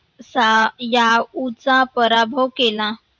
सा या उचा पराभव केला.